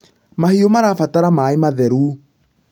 mahiũ marabatara maĩ matheru